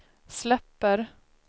släpper